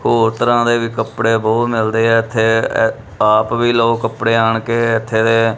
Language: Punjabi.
ਹੋਰ ਤਰ੍ਹਾਂ ਦੇ ਵੀ ਕੱਪੜੇ ਬਹੁਤ ਮਿਲਦੇ ਆ ਇੱਥੇ ਆਪ ਵੀ ਲੋ ਕੱਪੜੇ ਆਣ ਕੇ ਇੱਥੇ ਦੇ।